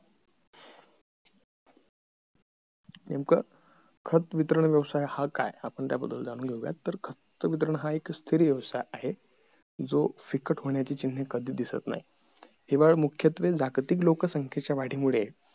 नेमका खत वितरण व्यवसाय हा काय आपण त्या बद्दल जाणून घेऊया तर खत वितरण हा एक स्थिर व्यवसाय आहे जो फिकट होण्याची चिन्ह कधीच दिसत नाही किंवा मुख्यत्वे जागतिक लोकसंख्येच्या वाढीमुळे